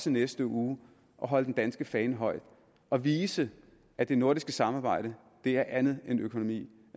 i næste uge at holde den danske fane højt og vise at det nordiske samarbejde er andet end økonomi